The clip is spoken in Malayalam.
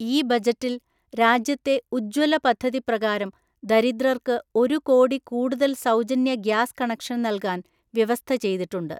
ഈ ബജറ്റിൽ രാജ്യത്തെ ഉജ്ജ്വല പദ്ധതി പ്രകാരം ദരിദ്രർക്ക് ഒരു കോടി കൂടുതൽ സൗജന്യ ഗ്യാസ് കണക്ഷൻ നൽകാൻ വ്യവസ്ഥ ചെയ്തിട്ടുണ്ട്.